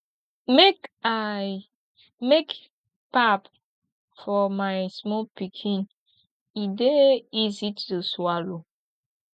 make i make pap for my small pikin e dey easy to swallow